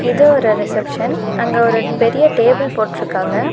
இது ஒரு ரிசப்ஷன் . அங்க ஒரு பெரிய டேபிள் போட்ருக்காங்க.